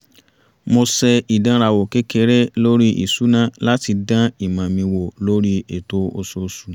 mo ṣe ìdànrawò kékeré lórí ìṣúná láti dán ìmọ̀ mi wò lórí ètò oṣooṣù